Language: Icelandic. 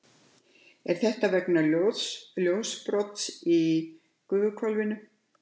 er þetta vegna ljósbrots í gufuhvolfinu